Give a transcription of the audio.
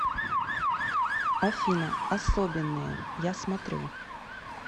афина особенные я смотрю